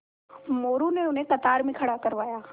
मोरू ने उन्हें कतार में खड़ा करवाया